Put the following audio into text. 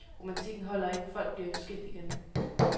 Romantikken holder ikke, folk bliver jo skilt igen.